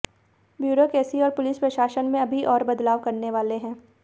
bureaucracy और पुलिस प्रशासन में अभी और बदलाव करने वाले हैं